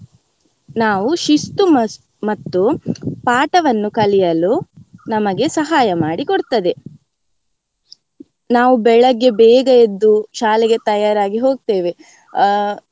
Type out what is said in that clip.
ನಾವ್ ಶಿಸ್ತು ಮತ್ತು ಪಾಠವನ್ನು ಕಲಿಯಲು ನಮಗೆ ಸಹಾಯ ಮಾಡಿ ಕೊಡ್ತದೆ. ನಾವ್ ಬೆಳಗ್ಗೆ ಬೇಗ ಎದ್ದು ಶಾಲೆಗೆ ತಯಾರಾಗಿ ಹೋಗ್ತೆವೆ ಆಹ್.